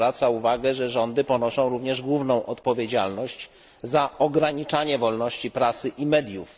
zwraca uwagę, że rządy ponoszą również główną odpowiedzialność za ograniczanie wolności prasy i mediów.